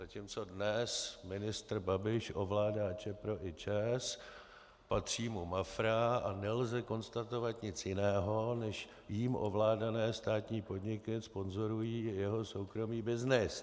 Zatímco dnes ministr Babiš ovládá Čepro i ČEZ, patří mu Mafra a nelze konstatovat nic jiného, než jím ovládané státní podniky sponzorují jeho soukromý byznys.